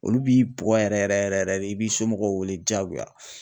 Olu b'i bugɔ yɛrɛ yɛrɛ yɛrɛ de i b'i somɔgɔw wele diyagoya.